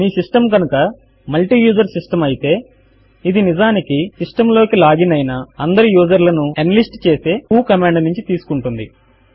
మీ system కనుక multiuser system అయితే ఇది నిజమునకు సిస్టమ్ లోకి లాగిన్ అయిన అందరు యూజర్లను ఎన్లిస్ట్ చేసే వ్హో కమాండ్ నుంచి తీసుకుంటుంది